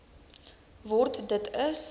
word dit is